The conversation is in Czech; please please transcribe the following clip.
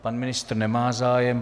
Pan ministr nemá zájem.